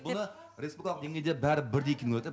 бұны республикалық деңгейде бәрі бірдей киіну керек те